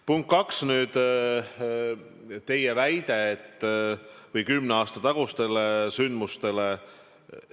Punkt kaks, teie väide või viide kümne aasta tagustele sündmustele.